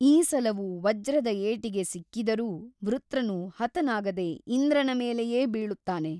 ಈ ಸಲವೂ ವಜ್ರದ ಏಟಿಗೆ ಸಿಕ್ಕಿದರೂ ವೃತ್ರನು ಹತನಾಗದೆ ಇಂದ್ರನ ಮೇಲೆಯೇ ಬೀಳುತ್ತಾನೆ.